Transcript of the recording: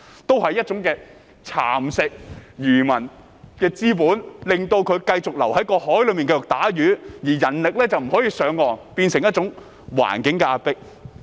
這也是一種蠶食漁民資本的做法，令他們繼續留在海上捕魚，而人力卻不能上岸，變成一種環境的壓迫。